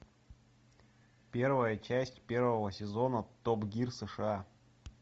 первая часть первого сезона топ гир сша